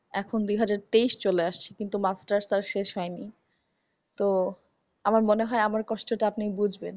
এখন দুহাজার তেইস চলে আসছে কিন্তু masters পাস শেষ হয়নি। তো আমার মনে হয় আমার কষ্টটা আপনি বুজবেন।